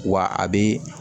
Wa a bi